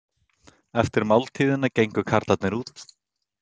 Eftir máltíðina gengu karlarnir út.